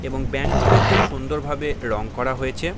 এবং ব্যাঙ্ক -টিকে খুব সুন্দর ভাবে রং করা হয়েছে ।